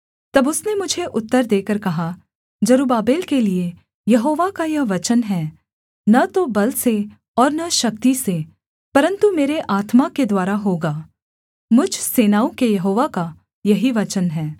तब उसने मुझे उत्तर देकर कहा जरुब्बाबेल के लिये यहोवा का यह वचन है न तो बल से और न शक्ति से परन्तु मेरे आत्मा के द्वारा होगा मुझ सेनाओं के यहोवा का यही वचन है